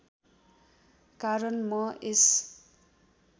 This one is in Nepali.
कारण म यस